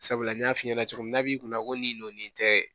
Sabula n y'a f'i ɲɛna cogo min na n'a b'i kunna ko nin nɔn nin tɛ